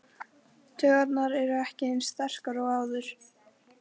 Taugarnar eru ekki eins sterkar og áður.